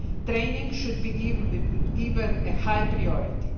Training should be given a high priority.